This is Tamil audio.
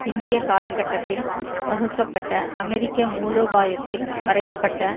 பிந்திய காலகட்டத்தில் வகுக்கப்பட்ட அமெரிக்க மூலோபாயத்தில் வரைய பட்ட